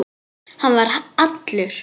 Hann var allur.